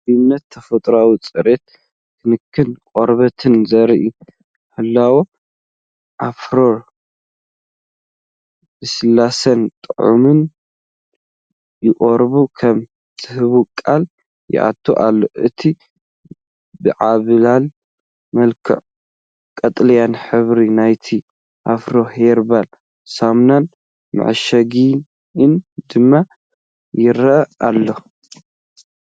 ፍሩይነት ተፈጥሮን ጽሬት ክንክን ቆርበትን ዘርእን ህላወ ኣሎቬራ ልስሉስን ጥዑይን ቆርበት ከም ዝህብ ቃል ይኣቱ ኣሎ። እቲ ብዓብላሊ መልክዑ ቀጠልያ ሕብሪ ናይቲ **ኣፍሪ ሄርባል** ሳሙናን መዐሸጊኡን ድማ ይረአ ኣሎ።